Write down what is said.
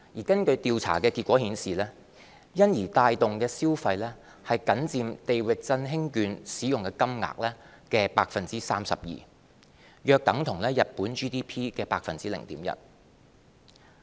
根據調查結果顯示，因而帶動的消費僅佔"地域振興券"使用金額的 32%， 約等於日本 GDP 的 0.1%。